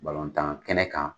tan kɛnɛ kan.